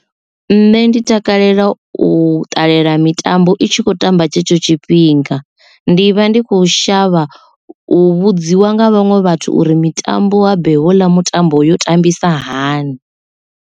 Nṋe ndi takalela u ṱalela mitambo itshi kho tamba tshetsho tshifhinga ndi vha ndi kho shavha u vhudziwa nga vhaṅwe vhathu uri mitambo habe heila mitambo yo tambisa hani.